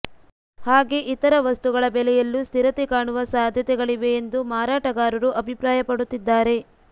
ಹಾಗೆ ಇತರ ವಸ್ತುಗಳ ಬೆಲೆಯಲ್ಲೂ ಸ್ಥಿರತೆ ಕಾಣುವ ಸಾಧ್ಯತೆಗಳಿವೆ ಎಂದು ಮಾರಾಟಗಾರರು ಅಭಿಪ್ರಾಯ ಪಡುತ್ತಿದ್ದಾರೆ